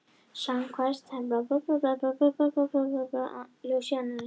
Samkvæmt henni eru andstæður háðar hvor annarri eða einungis þekkjanlegar hvor í ljós annarrar.